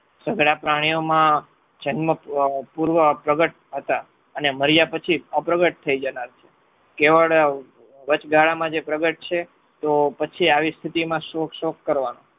સઘળા પ્રાણીઓમાં જન્મ પૂર્વ પ્રગટ હતા. અને મર્યા પછી અપ્રગટ થઈ જતા હતા કેવળ વચ્ચગાળા માં જે પ્રગટ છે તો પછી આવી સ્થિતિમાં શોક સો કરવાનો